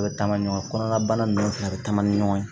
U bɛ taama ɲɔgɔn kɔnɔna bana ninnu fana a bɛ taama ni ɲɔgɔn ye